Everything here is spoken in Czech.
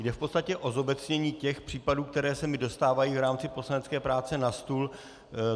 Jde v podstatě o zobecnění těch případů, které se mi dostávají v rámci poslanecké práce na stůl.